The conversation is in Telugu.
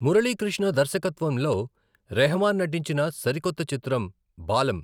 మురళీకృష్ణ దర్శకత్వంలో రెహమాన్ నటించిన సరికొత్త చిత్రం 'బాలమ్'.